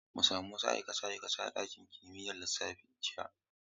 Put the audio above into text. Mun sami wasu aikace-aikace a ɗakin binciken kimiyyar lissafi jiya.